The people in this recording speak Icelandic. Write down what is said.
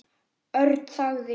Örn þagði.